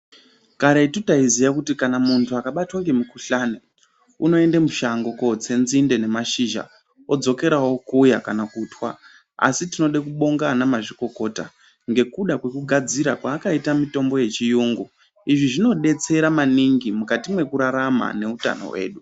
Karetu taiziva kuti kana muntu akabatwa nemukuhlani unoenda mushango kotsa nzinde nemashizha odzokera okuya kana kutwa asi tinoda kubonga ana mazvikokota ngekuda kwekugadzira kwavakaita mitombo yechirungu izvi zvinodetsera maningi mukati mekurarama nehutano hwedu.